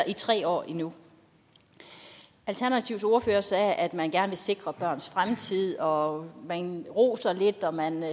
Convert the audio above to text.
i tre år endnu alternativets ordfører sagde at man gerne vil sikre børns fremtid og man roser lidt og man